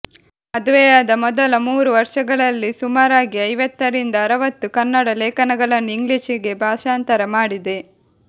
ಮದುವೆಯಾದ ಮೊದಲ ಮೂರು ವರ್ಷಗಳಲ್ಲಿ ಸುಮಾರಾಗಿ ಐವತ್ತರಿಂದ ಅರವತ್ತು ಕನ್ನಡ ಲೇಖನಗಳನ್ನು ಇಂಗ್ಲಿಷಿಗೆ ಭಾಷಾಂತರ ಮಾಡಿದೆ